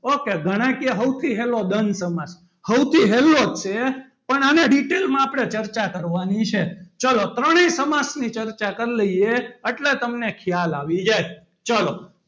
Ok ઘણા કે સૌથી સહેલો દ્વંદ સમાસ સૌથી હેલોજ છે. પણ આને detail આપણે ok માં ચર્ચા કરવાની છે. ચાલો ત્રણેય સમાસ ની ચર્ચા કરી લઈએ. એટલે તમને ખ્યાલ આવી જાય. ચલો,